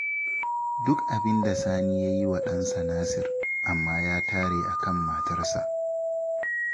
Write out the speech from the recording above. Duk abin da Sani ya yi wa ɗansa Nasir, amma ya tare a kan matarsa